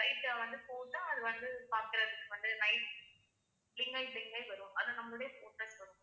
light ஆ வந்து போட்டா அது வந்து பாக்குறதுக்கு வந்து night blink ஆயி blink ஆயி வரும் அது நம்மளுடைய photos வரும்